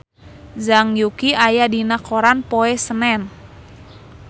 Zhang Yuqi aya dina koran poe Senen